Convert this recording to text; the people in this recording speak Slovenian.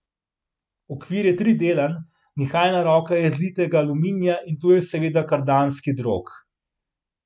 Okvir je tridelen, nihajna roka iz litega aluminija in tu je seveda kardanski drog.